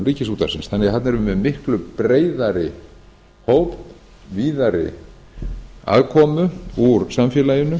ríkisútvarpsins þannig að þarna erum við með miklu breiðari hóp víðari aðkomu úr samfélaginu